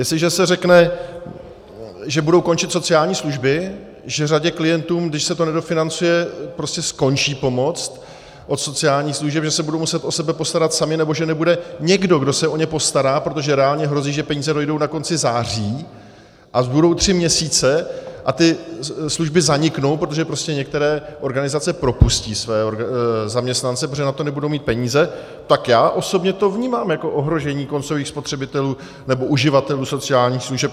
Jestliže se řekne, že budou končit sociální služby, že řadě klientům, když se to nedofinancuje, prostě skončí pomoc od sociálních služeb, že se budou muset o sebe postarat sami, nebo že nebude někdo, kdo se o ně postará, protože reálně hrozí, že peníze dojdou na konci září a zbudou tři měsíce a ty služby zaniknou, protože prostě některé organizace propustí své zaměstnance, protože na to nebudou mít peníze, tak já osobně to vnímám jako ohrožení koncových spotřebitelů nebo uživatelů sociálních služeb.